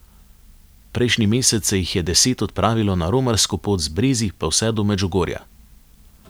Prejšnji mesec se jih je deset odpravilo na romarsko pot z Brezij pa vse do Medžugorja.